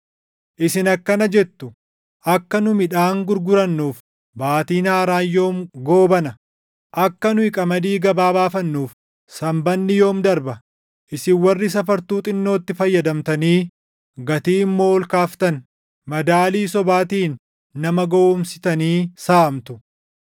isin akkana jettu; “Akka nu midhaan gurgurannuuf Baatiin Haaraan yoom goobana? Akka nu qamadii gabaa baafannuuf Sanbanni yoom darba?” Isin warri safartuu xinnootti fayyadamtanii gatii immoo ol kaaftan, madaalii sobaatiin nama gowwoomsitanii saamtu;